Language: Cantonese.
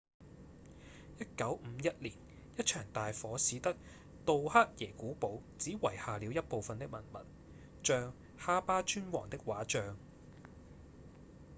1951年一場大火使得杜克耶古堡只遺下了一部份的文物像夏巴尊王的畫像